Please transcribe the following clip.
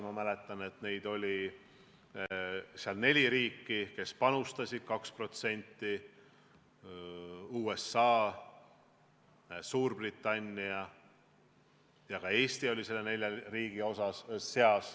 Ma mäletan, et veel mõni aeg tagasi oli neli sellist riiki, kes panustasid 2%, sh USA, Suurbritannia ja ka Eesti.